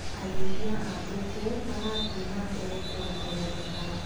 Arĩitrhia a mbũkũ marathi na mbere kuongerereka.